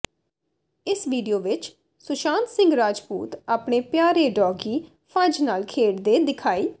ਇਸ ਵੀਡੀਓ ਵਿਚ ਸੁਸ਼ਾਂਤ ਸਿੰਘ ਰਾਜਪੂਤ ਆਪਣੇ ਪਿਆਰੇ ਡੌਗੀ ਫੱਜ਼ ਨਾਲ ਖੇਡਦੇ ਦਿਖਾਈ